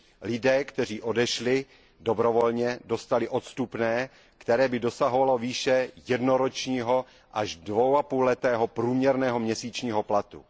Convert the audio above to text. Lidé, kteří odešli dobrovolně, dostali odstupné, které dosahovalo výše jednoročního až dvaapůlletého průměrného měsíčního platu.